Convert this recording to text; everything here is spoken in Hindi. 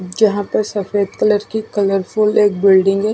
जहा पे सफ़ेद कलर फुल एक बिल्डिंग है।